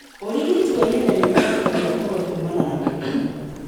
ũrigiti wa ihenya ũhonokagia ngũrũwe kumana na mĩrimũ.